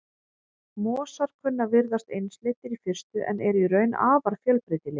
Mosar kunna að virðast einsleitir í fyrstu en eru í raun afar fjölbreytilegir.